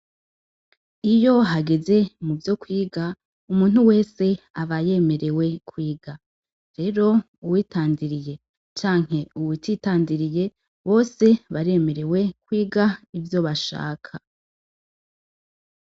Iyo hageze muvyo kwiga, umuntu wese aba yemerewe kwiga, rero uwitandiriye canke uwutitandiriye bose baremerewe kwiga ivyo bashaka.